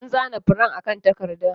An zana furen akan takarda.